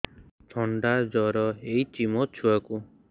ଥଣ୍ଡା ଜର ହେଇଚି ମୋ ଛୁଆକୁ